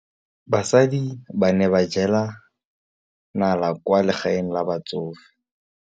Basadi ba ne ba jela nala kwaa legaeng la batsofe.